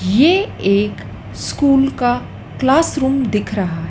ये एक स्कूल का क्लासरूम दिख रहा--